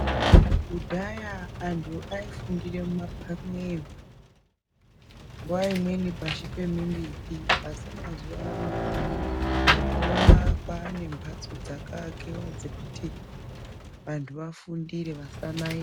Kudhaya antu aifundire mumaphan'eyo nguwa imweni pashi pemimbiti asi mazuwa ano toona kwane mhadzo dzakaakiwa dzekuti vantu vafundire vasanai.